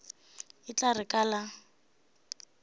e tla re ka le